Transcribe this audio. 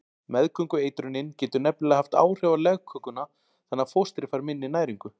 Meðgöngueitrunin getur nefnilega haft áhrif á legkökuna þannig að fóstrið fær minni næringu.